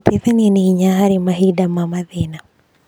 Gũteithania nĩ hinya harĩ mahinda ma mathĩna.